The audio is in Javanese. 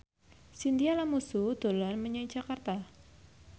Chintya Lamusu dolan menyang Jakarta